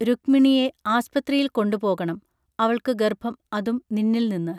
രുഗ്മിണീയേ ആസ്പ്ത്രിയിൽ കൊണ്ട് പോകണം അവൾക്കു ഗർഭം അതും നിന്നിൽ നിന്ന്